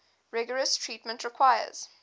rigorous treatment requires